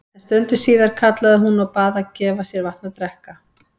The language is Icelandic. En stundu síðar kallaði hún og bað gefa sér vatn að drekka.